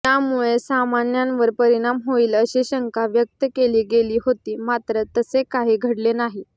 यामुळे सामन्यावर परिणाम होईल अशी शंका व्यक्त केली गेली होती मात्र तसे काही घडले नाही